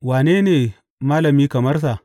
Wane ne malami kamar sa?